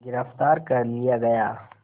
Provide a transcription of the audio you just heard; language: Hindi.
गिरफ़्तार कर लिया गया